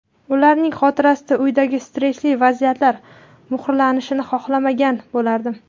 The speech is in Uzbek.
Ularning xotirasida uydagi stressli vaziyatlar muhrlanishini xohlamagan bo‘lardim”.